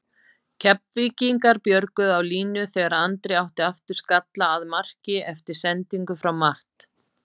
Keflvíkingar björguðu á línu þegar Andri átti aftur skalla að marki eftir sendingu frá Matt.